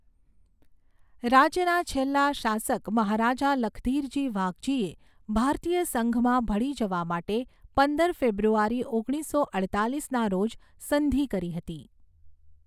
રાજ્યના છેલ્લા શાસક મહારાજા લખધીરજી વાઘજીએ ભારતીય સંઘમાં ભળી જવા માટે પંદર ફેબ્રુઆરી ઓગણીસો અડતાલીસના રોજ સંધિ કરી હતી.